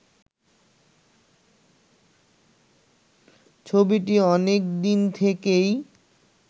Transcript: ছবিটি অনেকদিন থেকেই